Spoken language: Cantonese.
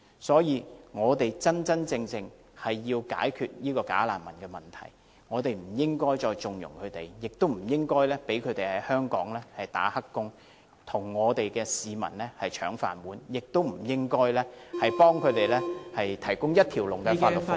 所以，我們要切實解決"假難民"問題，不應該再縱容他們，不應該讓他們在香港當"黑工"，和香港市民爭"飯碗"，也不應該為他們提供......一條龍的法律服務......